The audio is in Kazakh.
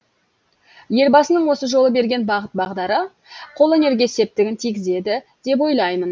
елбасының осы жолы берген бағыт бағдары қолөнерге септігін тигізеді деп ойлаймын